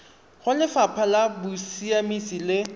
go lefapha la bosiamisi le